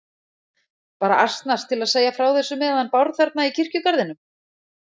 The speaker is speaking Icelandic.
Bara asnast til að segja frá þessu með hann Bárð þarna í kirkjugarðinum.